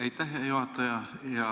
Aitäh, hea juhataja!